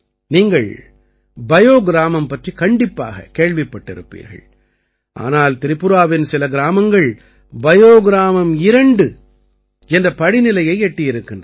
நீங்கள் பயோ கிராமம் பற்றிக் கண்டிப்பாக கேள்விப்பட்டிருப்பீர்கள் ஆனால் திரிபுராவின் சில கிராமங்கள் பயோ கிராமம் 2 என்ற படிநிலையை எட்டி இருக்கின்றன